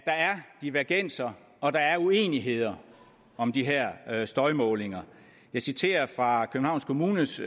divergenser og at der er uenigheder om de her her støjmålinger jeg citerer fra københavns kommunes